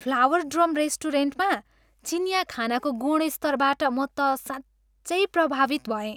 Flower drum रेस्टुरेन्टमा चिनियाँ खानाको गुणस्तरबाट म त साँच्चै प्रभावित भएँ।